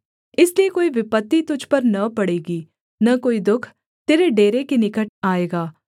इसलिए कोई विपत्ति तुझ पर न पड़ेगी न कोई दुःख तेरे डेरे के निकट आएगा